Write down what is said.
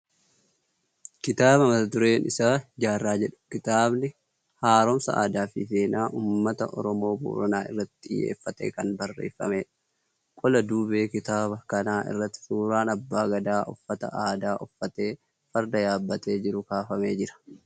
Kitaaba mata dureen isaa"Jaarraa" jedhu. Kitaabni haaromsa aadaa fi seenaa uummata Oromoo Booranaa irratti xiyyeeffatee kan barreeffamedha. Qola duubee kitaaba kanaa irratti suuraan abbaa gadaa uffata aadaa uffatee farda yaabbatee jiruu kaafamee jira.